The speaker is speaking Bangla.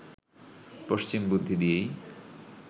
পশ্চিম বুদ্ধি দিয়েই